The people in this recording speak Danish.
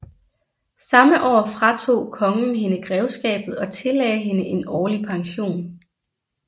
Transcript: Samme år fratog kongen hende grevskabet og tillagde hende en årlig pension